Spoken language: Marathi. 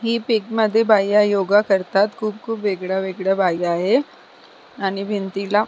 बाया योगा करतात खूप खूप वेगळ्या वेगळ्या बाया आहे आणि भिंतीला--